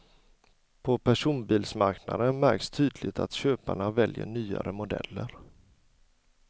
På personbilsmarknaden märks tydligt att köparna väljer nyare modeller.